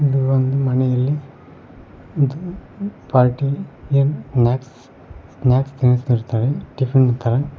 ಇದು ಒಂದು ಮನೆಯಲ್ಲಿ ಇದು ಪಾರ್ಟಿ ಯನ ಸ್ನಾಕ್ಸ್ ಸ್ನಾಕ್ಸ್ ತಿನಿಸತಿರ್ತರೆ ಟಿಫನ್ ತರ --